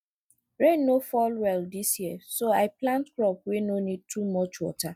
rain no fall well this year so i plant crop wey no need too much water